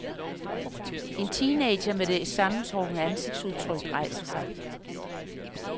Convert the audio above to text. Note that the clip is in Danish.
En teenager med et sammentrukket ansigtsudtryk rejser sig.